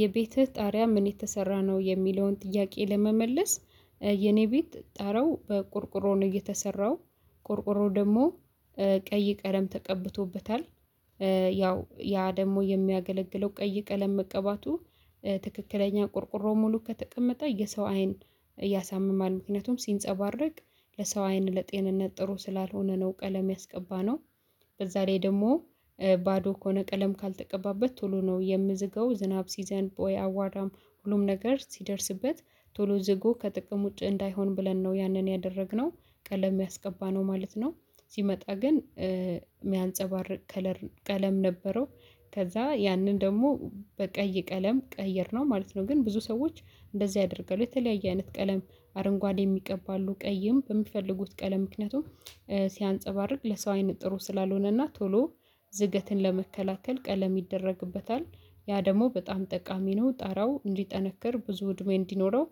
የቤትህ ጣሪያ ምን የተሰራ ነው የሚለውን ጥያቄ ለመመለስ የኔ ቤት ጣራው በቆርቆሮ ነው የተሰራው ቆርቆሮው ደግሞ ቀይ ቀለም ተቀብቶበታል። ያው ያ ደግሞ የሚያገለግለው ቀይ ቀለም መቀባቱ። ትክክለኛ ቆርቆሮ ሙሉ ከተቀመጠ የሰው አይን ያሳምማል ምክንያቱም ሲንፀባረቅ ለሰው አይን ለጤንነት ጥሩ ስላልሆነ ነው ቀለም ያስቀባነው። በዛ ላይ ደግሞ ባዶ ከሆነ ቀለም ካልተቀባበት ቶሎ ነው የሚዝገው። ዝናብ ሲዘንብ ወይ አቧራም ሁሉም ነገር ሲደርስበት ቶሎ ዝጎ ከጥቅም ውጪ እንዳይሆን ብለን ነው ያንን ያደረግነው። ቀለም ያስቀባነው ማለት ነው። ሲመጣ ግን የሚያንፀባርቅ ከለር ቀለም ነበረው። ከዛ ያንን ደግሞ በቀይ ቀለም ቀየርነው ማለት ነው። ግን ብዙ ሰዎች እንደዚህ አድርገዋል የተለያየ አይነት ቀለም አረንጓዴም ይቀባሉ ቀይም በሚፈልጉት ቀለም ምክንያቱም ሲያንፀባርቅ ለሰው አይን ጥሩ ስላልሆነ እና ቶሎ ዝገትን ለመከላከል ቀለም ይደረግበታል። ያ ደግሞ በጣም ጠቃሚ ነው ጣራው እንዲጠነክር ብዙ እድሜ እንዲኖረው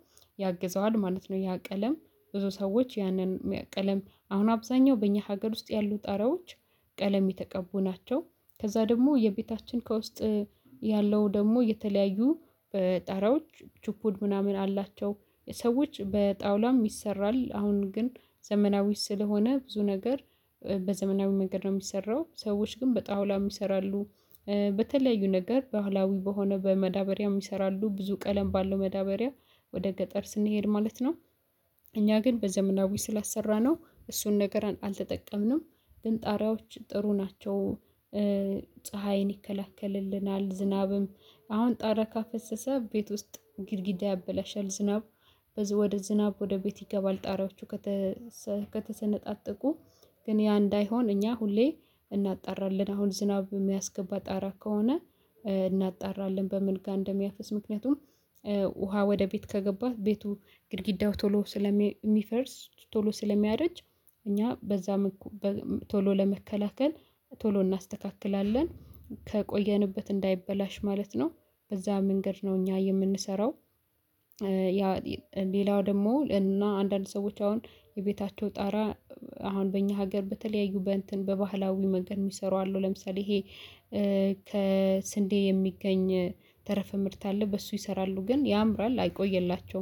ያግዘዋል ማለት ነው። ያ ቀለም ብዙ ሰዎች ያንን ቀለም አሁን አብዛኛው በእኛ ሀገር ውስጥ ያሉ ጣራዎች ቀለም የተቀቡ ናቸው። ከዛ ደግሞ የቤታችን ከውስጥ ያለው ደግሞ የተለያዩ ጣራዎች ችፑድ ምናምን አላቸው። ሰዎች በጣውላም ይሰራል አሁን ግን ዘመናዊ ስለሆነ ብዙ ነገር በዘመናዊ መንገድ ነው የሚሰራው ሰዎች ግን በጣውላም ይሰራሉ። በተለያዩ ነገር ባህላዊ በሆነ በመዳበሪያም ይሰራሉ ብዙ ቀለም ባለው መዳበሪያ ወደ ገጠር ስንሄድ ማለት ነው። እኛ ግን በዘመናዊ ስላሰራነው እሱን ነገር አልተጠቀምንም። ግን ጣሪያዎች ጥሩ ናቸው። ፀሀይን ይከላከልልናል ዝናብም አሁን ጣራ ካፈሰሰ ቤት ውስጥ ግድግዳ ያበላሻል ዝናብ ወደ ዝናብ ወደ ቤት ይገባል ጣሪያዎቹ። ከተሰነጣጠቁ ግን ያ እንዳይሆን እኛ ሁሌ እናጣራለን አሁን ዝናብ የሚያስገባ ጣራ ከሆነ እናጣራለን። በምን ጋር እንደሚያፈስ ምክንያቱም ውሃ ወደ ቤት ከገባ ቤቱ ግድግዳው ቶሎ ስለሚፈርስ ቶሎ ስለሚያረጅ። እኛ በዛ ቶሎ ለመከላከል ቶሎ እናስተካክላለን ከቆየንበት እንዳይበላሽ ማለት ነው። በዛ መንገድ ነው እኛ የምንሰራው። ያ ሌላው ደግሞ እና አንዳንድ ሰዎች አሁን የቤታቸው ጣራ አሁን በእኛ ሀገር በተለያዩ በእንትን በባህላዊ መንገድ የሚሰሩ አሉ ለምሳሌ ይሄ። ከስንዴ የሚገኝ ተረፈ ምርት አለ በሱ ይሰራሉ ግን ያምራል አይቆይላቸውም